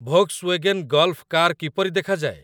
Volkswagen Golf car କିପରି ଦେଖାଯାଏ ?